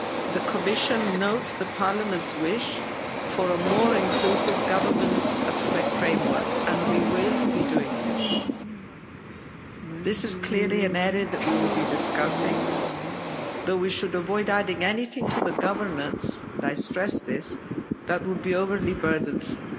The Commission notes Parliament's wish for a more inclusive governance framework and we will be doing this. This is clearly an area that we will be discussing, though we should avoid adding anything to the governance, and I stress this, that would be overly burdensome